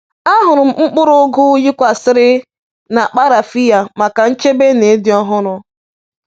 Ahụrụ m mkpụrụ ugu yikwasịrị n’akpa rafiya maka nchebe na ịdị ọhụrụ.